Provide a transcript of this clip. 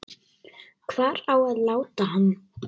Hvar á að láta hann?